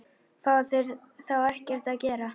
Fá þeir þá ekkert að gera?